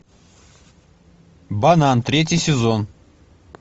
банан третий сезон